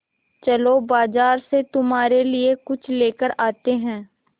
चलो बाज़ार से तुम्हारे लिए कुछ लेकर आते हैं